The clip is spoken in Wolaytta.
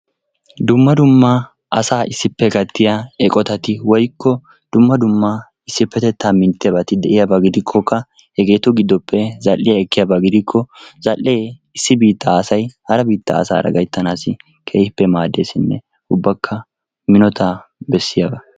Dumma dumma asaa issippe gattiya eqotati woyikko dumma dumma issippetettaa minttiyabati de'iyaba gidikkokka hegeetu gidoppe zal'iya ekkiyaba gidikko zal'ee issi biittaa asay hara biittaa asaara gayittanaassi keehippe maaddeesinne ubbakka minotaa bessiyagaa.